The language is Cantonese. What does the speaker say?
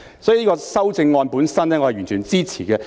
所以，修正案本身我是完全支持的。